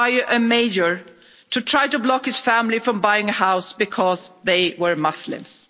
A mayor also tried to block his family from buying a house because they were Muslims.